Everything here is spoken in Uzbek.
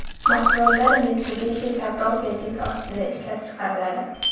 Mahsulotlar Mitsubishi savdo belgisi ostida ishlab chiqariladi.